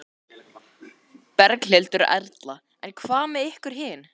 Berghildur Erla: En hvað með ykkur hin?